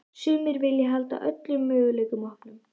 Sumir vilja halda öllum möguleikum opnum.